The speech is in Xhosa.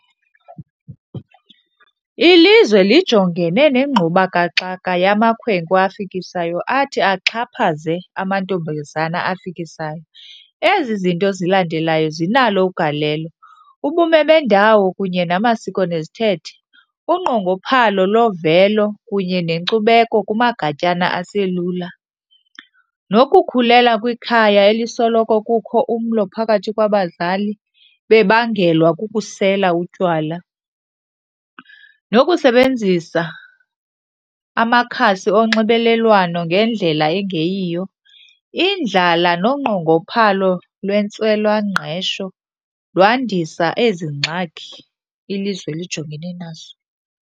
Ilizwe lijongene nengxubakaxaka yamakhwenkwe afikisayo athi axhaphaze amantombazana afikisayo. Ezi zinto zilandelayo zinalo ugalelo, ubume bendawo kunye namasiko nezithethe, unqongophalo lovelo kunye nenkcubeko kumagatyana aselula, nokukhulela kwikhaya elisoloko kukho umlo phakathi kwabazali bebangelwa kukusela utywala, nokusebenzisa amakhasi onxibelelwano ngendlela engeyiyo. Indlala nonqongophalo lwentswelangqesho lwandisa ezi ngxaki ilizwe lijongene nazo.